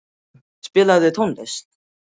Sesil, spilaðu tónlist.